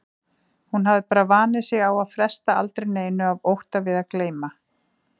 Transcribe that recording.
Hún hafði bara vanið sig á að fresta aldrei neinu af ótta við að gleyma.